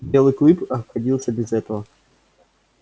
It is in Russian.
белый клык обходился без этого